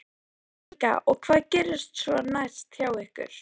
Helga: Og hvað gerist svo næst hjá ykkur?